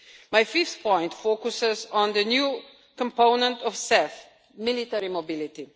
My fifth point focuses on the new component of CEF military mobility.